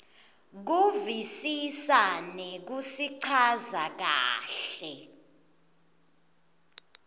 kuvisisa nekusichaza kahle